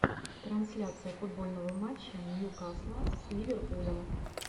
трансляция футбольного матча ньюкасла с ливерпулем